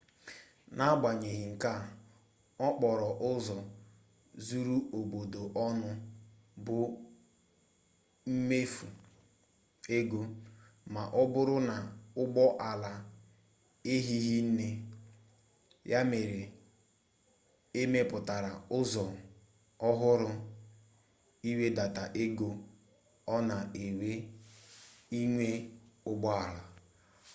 n'agbanyeghị nke a okporo ụzọ zuru obodo ọnụ bụ mmefu ego ma ọbụrụ na ụgbọ ala ehighị nne ya mere emepụtara ụzọ ọhụrụ ịwedata ego o na ewe inwe ụgbọala